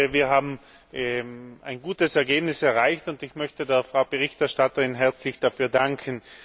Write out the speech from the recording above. Wir haben ein gutes Ergebnis erreicht, und ich möchte der Berichterstatterin herzlich dafür danken.